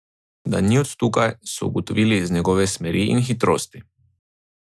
Da ni od tukaj, so ugotovili iz njegove smeri in hitrosti.